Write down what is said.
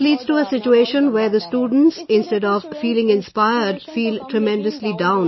This leads to a situation, where the students instead of feeling inspired feel tremendously down